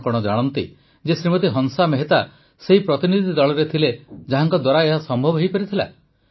କଣ ଆପଣ ଜାଣନ୍ତି ଯେ ଶ୍ରୀମତୀ ହଂସା ମେହେତା ସେହି ପ୍ରତିନିଧି ଦଳରେ ଥିଲେ ଯାହାଙ୍କ ଦ୍ୱାରା ଏହା ସମ୍ଭବ ହୋଇପାରିଲା